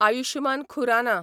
Ayushman Khurana